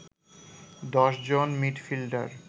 ১০ জন মিডফিল্ডার